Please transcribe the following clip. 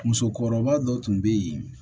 Musokɔrɔba dɔ tun bɛ yen